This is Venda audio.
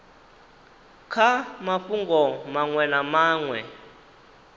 kha mafhungo maṅwe na maṅwe